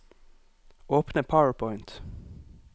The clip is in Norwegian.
Åpne PowerPoint